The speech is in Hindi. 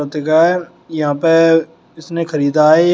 जगह है यहां पे इसने खरीदा है एक।